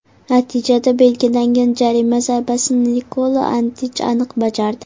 Natijada belgilangan jarima zarbasini Nikola Antich aniq bajardi.